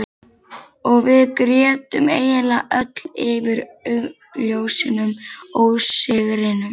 Og við grétum eiginlega öll yfir augljósum ósigrinum.